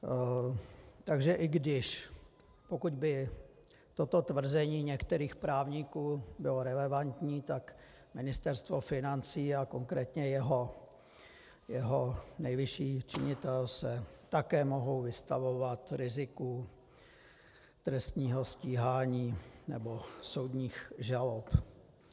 Takže i když pokud by toto tvrzení některých právníků bylo relevantní, tak Ministerstvo financí a konkrétně jeho nejvyšší činitel se také mohou vystavovat riziku trestního stíhání nebo soudních žalob.